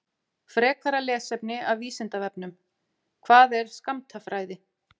Frekara lesefni af Vísindavefnum: Hvað er skammtafræði?